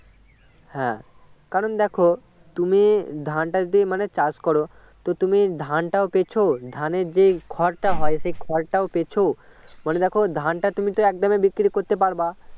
হ্যাঁ কারণ দেখো তুমি ধানটা যদি চাষ করো তো তুমি ধানটা পাচ্ছো ধানের যে খড়টা হয় সেই খড়টাও পাচ্ছো মনে দেখো ধানটা তুমি তো একদমই বিক্রি করতে পারবে